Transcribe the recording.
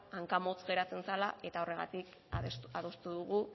hankamotz geratzen zala eta horregatik adostu dugu